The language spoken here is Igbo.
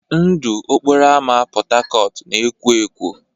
Ndụ okporo ámá Port Harcourt na-ekwọ ekwọ.